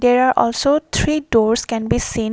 there are also three doors can be seen.